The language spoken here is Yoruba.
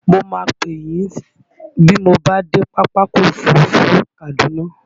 Mo máa pè yín bí mo bá dé Pápákọ̀ Òfurufú Kaduna.